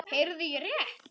Heyrði ég rétt.